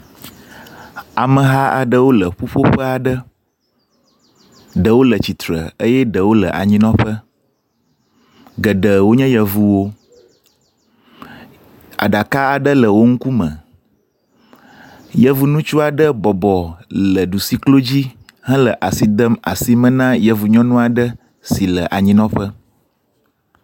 Ameha aɖewo le ƒuƒoƒe aɖe. Ɖewo le tsitre eye ɖewo le anyinɔƒe. Geɖe wonye yevuwo. Aɖaka aɖe le wo ŋkume. Yevuŋutsu aɖe bɔbɔ le ɖusi klo dzi hele asi dem asime na yevu nyɔnu aɖe si le anyinɔƒe.